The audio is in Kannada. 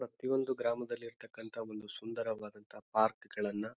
ಪ್ರತಿಯೊಂದು ಗ್ರಾಮದಲ್ಲಿ ಇರ್ತಕನಂತಹ ಒಂದು ಸುಂದರವಾದಂತ ಪಾರ್ಕ್ ಗಳನ್ನ --